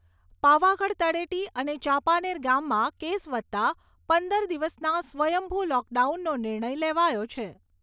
પાવાગઢ તળેટી અને ચાંપાનેર ગામમાં કેસ વધતાં પંદર દિવસના સ્વયંભુ લોકડાઉનનો નિર્ણય લેવાયો છે.